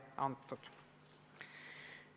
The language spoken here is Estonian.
Kolmas küsimus.